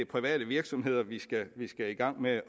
private virksomheder vi skal vi skal i gang med